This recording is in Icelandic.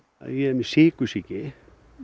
ég er með sykursýki